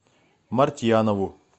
мартьянову